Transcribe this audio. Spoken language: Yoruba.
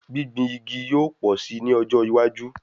Gbìngbin igi yóò pọ̀ si ní ọjọ́ iwájú